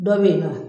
Dɔ bɛyinɔ